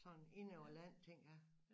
Sådan inde over land ting ja